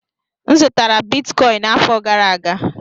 M zụtara bitcọịns n'afọ gara aga.